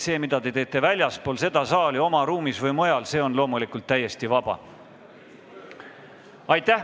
See, mida te teete väljaspool seda saali, oma ruumis või mujal, see on loomulikult täiesti vaba.